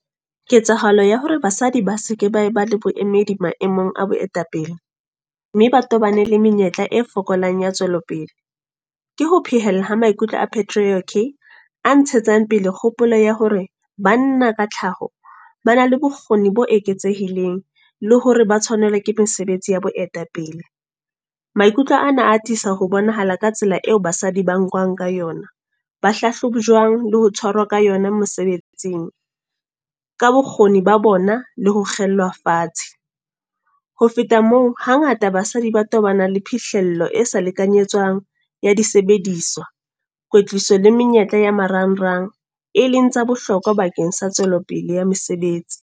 Ketsahalo ya hore basadi ba seke ba ba le boemedi maemong a boetapele. Mme ba tobane le menyetla e fokolang ya tswelopele. Ke ho phehella ha maikutlo a patriarchy. A ntshetsang pele kgopolo ya hore, banna ka tlhaho, ba na le bokgoni bo eketsehileng. Le hore ba tshwanelwa ke mesebetsi ya boetapele. Maikutlo ana a atisa ho bonahala ka tsela eo ba sa di ba nkwang ka yona. Ba hlahlobujwang le ho tshwarwa ka yona mosebetsing. Ka bokgoni ba bona, le ho kgellwa fatshe. Ho feta moo, hangata basadi ba tobana le phihlello e sa lekanyetswang ya disebediswa, kwetliso le menyetla ya marangrang. E leng tsa bohlokwa bakeng sa tswelopele ya mesebetsi.